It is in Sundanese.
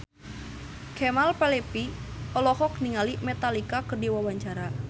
Kemal Palevi olohok ningali Metallica keur diwawancara